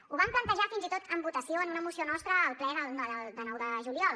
ho vam plantejar fins i tot en votació en una moció nostra al ple del nou de juliol